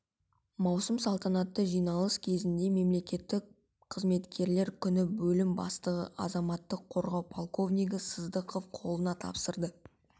маусым салтанатты жиналыс кезінде мемлекеттік қызметкерлер күні бөлім бастығы азаматтық қорғау подполковнигі сыздықов қолына тапсырды